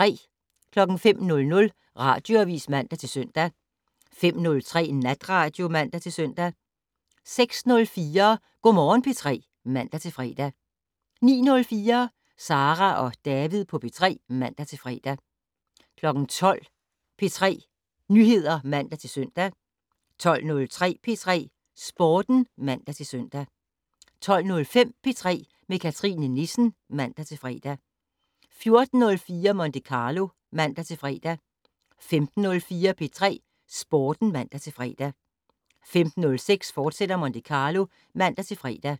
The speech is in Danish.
05:00: Radioavis (man-søn) 05:03: Natradio (man-søn) 06:04: Go' Morgen P3 (man-fre) 09:04: Sara og David på P3 (man-fre) 12:00: P3 Nyheder (man-søn) 12:03: P3 Sporten (man-søn) 12:05: P3 med Cathrine Nissen (man-fre) 14:04: Monte Carlo (man-fre) 15:04: P3 Sporten (man-fre) 15:06: Monte Carlo, fortsat (man-fre)